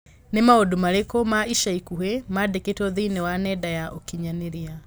Nĩ maũndũ marĩkũ ma ica ikuhĩ mandikĩtwo thĩinĩ wa nenda ya ũkĩnyaniria